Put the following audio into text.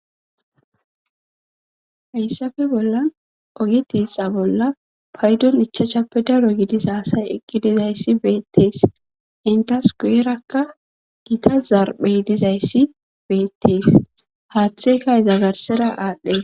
Hayssafe bolla oge tiixa bolla paydon ichachappe daro gidisa aasay eqqi dizayssi beettees intas guyerakka gita zarphey dizayssi beettees haaththeyka ezagarsera aadhdhe.